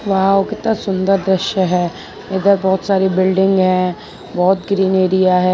वाह कितना सुंदर दृश्य है इधर बहोत सारी बिल्डिंग है बहोत ग्रीन एरिया है।